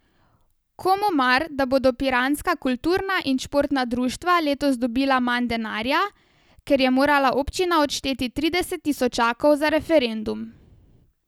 Komu mar, da bodo piranska kulturna in športna društva letos dobila manj denarja, ker je morala občina odšteti trideset tisočakov za referendum.